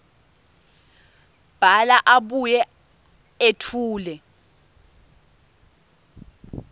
bhala abuye etfule